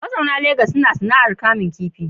Mazauna Legas suna sana’ar kamun kifi.